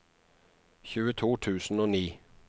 tjueto tusen og ni